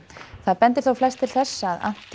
það bendir þó flest til þess að